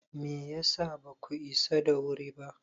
Me ya sa baku isa da wuri ba?